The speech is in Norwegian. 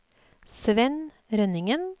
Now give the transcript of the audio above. Svenn Rønningen